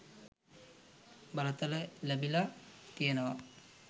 බලතල ලැබිලා තියෙනවා.